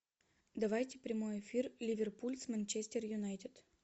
давайте прямой эфир ливерпуль с манчестер юнайтед